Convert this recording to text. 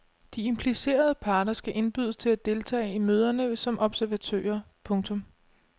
De implicerede parter skal indbydes til at deltage i møderne som observatører. punktum